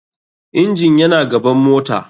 Engine yana gaban mota.